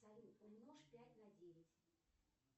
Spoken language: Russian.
салют умножь пять на девять